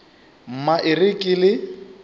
mma e re ke le